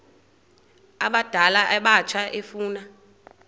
abadala abatsha efuna